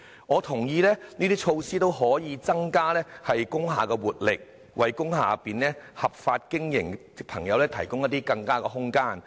我同意這些措施均可增加工廈的活力，為在工廈內合法經營的朋友提供更佳空間。